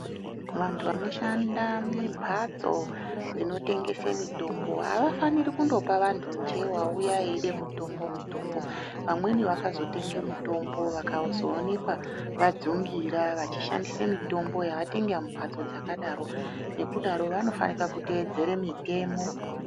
Vanhu vanoshanda mumbatso dzinotengeswa mitombo havafaniri kungopa vantu nje vauya eida mitombo .mitombo vamweme vakazotenga mitombo vakazooneka vajungira vashandisa mitombo yaatenga mumhatso yakadaro nekudaro .Nekudaro vanofanira kuteedzera mitemo